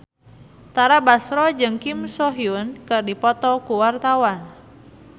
Tara Basro jeung Kim So Hyun keur dipoto ku wartawan